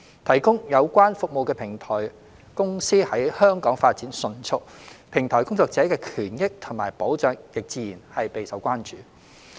提供有關服務的平台公司在香港發展迅速，平台工作者的權益及保障亦自然備受關注。